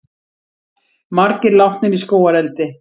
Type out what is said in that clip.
Margir látnir í skógareldi